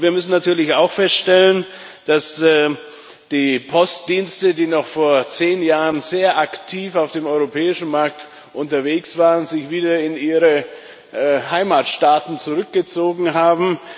Aber wir müssen natürlich auch feststellen, dass die Postdienste, die noch vor zehn Jahren sehr aktiv auf dem europäischen Markt unterwegs waren, sich wieder in ihre Heimatstaaten zurückgezogen haben.